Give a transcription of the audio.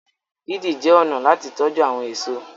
didi jé ọnà láti tọjú àwọn èso.